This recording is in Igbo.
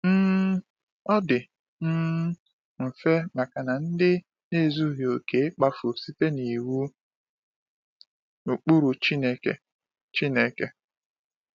um Ọ dị um mfe maka ndị na-ezughị okè ịkpafu site n’iwu na ụkpụrụ Chineke. Chineke.